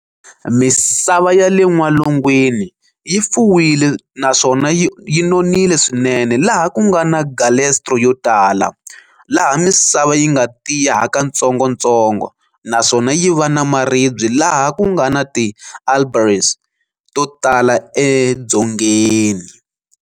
Misava yale n'walungwini yi fuwile naswona yi nonile swinene laha kungana "galestro" yotala, laha misava yinga tiya hakatsongotsongo naswona yiva na maribye laha kungana "ti albarese" totala edzongeni.